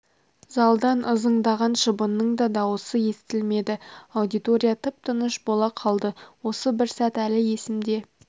залдан ызыңдаған шыбынның да дауысы естілмеді аудитория тып-тыныш бола қалды осы бір сәт әлі есімде